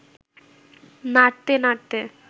নাড়তে নাড়তে